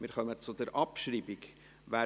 Wir stimmen über die Abschreibung ab.